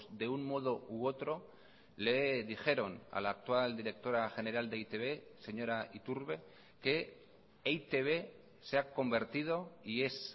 de un modo u otro le dijeron a la actual directora general de e i te be señora iturbe que e i te be se ha convertido y es